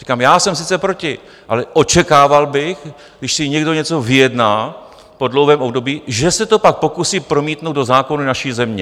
Říkám, já jsem sice proti, ale očekával bych, když si někdo něco vyjedná po dlouhém období, že se to pak pokusí promítnout do zákonů naší země.